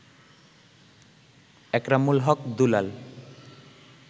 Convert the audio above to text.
Ekramul Haque Dulal